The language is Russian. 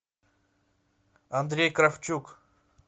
андрей кравчук